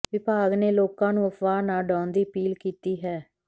ਵਿਭਾਗ ਨੇ ਲੋਕਾਂ ਨੂੰ ਅਫ਼ਵਾਹ ਨਾ ਉਡਾਉਣ ਦੀ ਅਪੀਲ ਕੀਤੀ ਹੈ